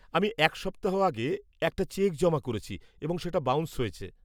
-আমি এক সপ্তাহ আগে একটা চেক জমা করেছি এবং সেটা বাউন্স হয়েছে।